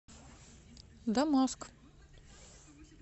дамаск